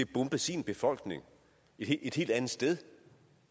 bombe sin befolkning et helt andet sted